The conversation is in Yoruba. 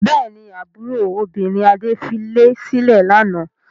Bẹ́ẹ̀ ni, àbúrò obìnrin Adé filé sílẹ̀ lánàá.